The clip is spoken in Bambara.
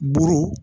Buru